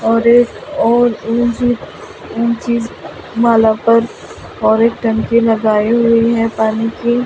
और और माला पर और एक टंकी लगाई हुई है पानी की ।